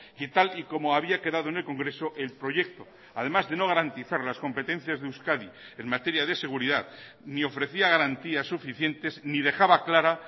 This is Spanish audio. que tal y como había quedado en el congreso el proyecto además de no garantizar las competencias de euskadi en materia de seguridad ni ofrecía garantías suficientes ni dejaba clara